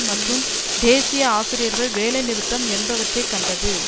மற்றும் தேசிய ஆசிரியர்கள் வேலைநிறுத்தம் என்பவற்றை கண்டது